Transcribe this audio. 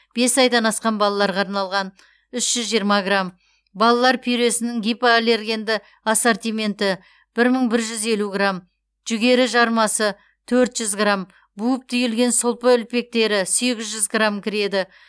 бес айдан асқан балаларға арналған үш жүз жиырма грамм балалар пюресінің гипоаллергенді ассортименті бір мың бір жүз елу грамм жүгері жармасы төрт жүз грамм буып түйілген сұлпы үлпектері сегіз жүз грамм кіреді